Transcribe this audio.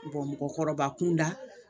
mɔgɔkɔrɔba kunda